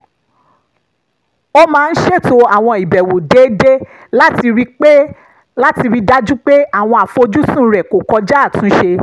ó máa ń ṣètò àwọn ìbẹ̀wò déédéé láti rí i dájú pé àwọn àfojúsùn rẹ̀ kò kọjá àtúnṣe